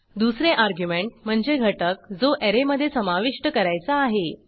दुसरे अर्ग्युमेंट म्हणजे घटक जो ऍरे मधे समाविष्ट करायचा आहे